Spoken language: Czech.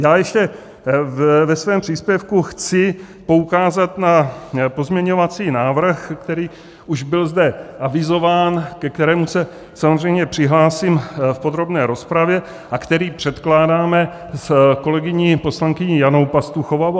Já ještě ve svém příspěvku chci poukázat na pozměňovací návrh, který už byl zde avizován, ke kterému se samozřejmě přihlásím v podrobné rozpravě a který předkládáme s kolegyní poslankyní Janou Pastuchovou.